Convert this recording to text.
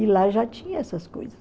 E lá já tinha essas coisas.